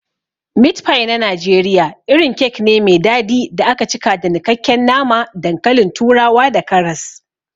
Meat pie na Najeriya irin kek ne me dadi da aka cika da nikakken nama, dankalin turawa da karas.